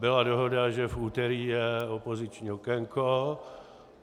Byla dohoda, že v úterý je opoziční okénko.